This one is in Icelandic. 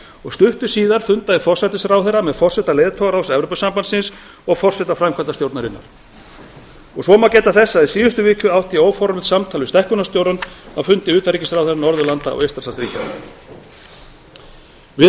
og stuttu síðar fundaði forsætisráðherra með forseta leiðtogaráðs evrópusambandsins og forseta framkvæmdastjórnarinnar svo má geta þess að í síðustu viku átti ég óformlegt samtal við stækkunarstjórann á fundi utanríkisráðherra norðurlanda og eystrasaltsríkjanna við